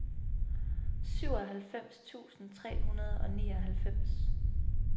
syvoghalvfems tusind tre hundrede og nioghalvfems